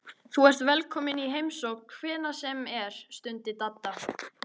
Þú ert velkominn í heimsókn hvenær sem er stundi Dadda.